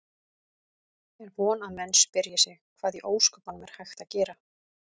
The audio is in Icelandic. Er von að menn spyrji sig: Hvað í ósköpunum er hægt að gera?